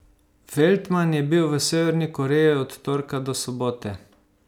Feltman je bil v Severni Koreji od torka do sobote.